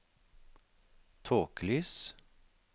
tåkelys